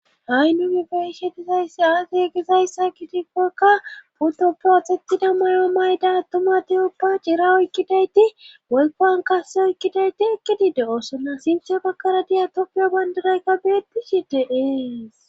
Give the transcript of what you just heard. Ha'i nu gi beishe dizayssi aage egizayssa gitifekka pudo protetida may'o mayda attuma deyoppa cira oykkidayti woykowan kase oykkidayti ekkidi de oosonna sinthe bakkara diya toppiyo bandiraykka beetishi deees.